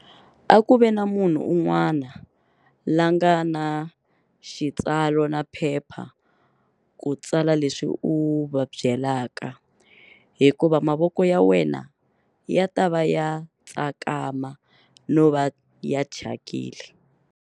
A ku ve na munhu un'wana la nga na xitsalo na phepha ku tsala leswi u va byelaka, hikuva mavoko ya wena ya ta va ya tsakama no va ya thyakile.